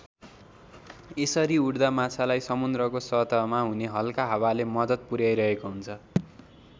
यसरी उड्दा माछालाई समुद्रको सतहमा हुने हल्का हावाले मद्दत पुर्‍याइरहेको हुन्छ।